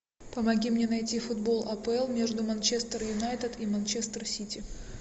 помоги мне найти футбол апл между манчестер юнайтед и манчестер сити